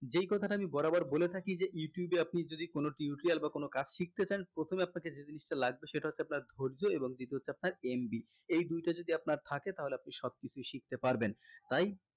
যেই কথা টা আমি বরাবর বলে থাকি যে যদি youtube এ আপনি যদি কোনো tutorial বা কোনো কাজ শিখতে চান প্রথমে আপনাকে যে জিনিষটা লাগবে সেটা হচ্ছে আপনার ধর্য্য এবং দ্বিতীয় হচ্ছে আপনার MB এই দুইটা যদি আপনার থাকে তাহলে আপনি সব কিছুই শিখতে পারবেন